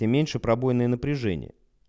тем меньше пробойное напряжение